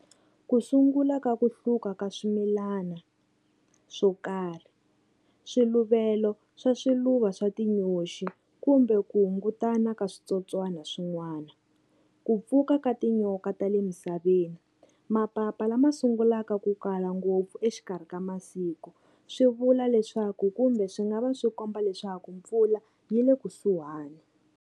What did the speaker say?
Ku sungula ka ku hluka ka swimilana swo karhi, swiluvelo swa swiluva swa tinyoxi kumbe ku hungutana ka switsotswana swin'wana, ku pfuka ka tinyoka ta le misaveni, mapapa lama sungulaka ku kala ngopfu exikarhi ka masiku swi vula leswaku kumbe swi nga va swi komba leswaku mpfula yi le kusuhani.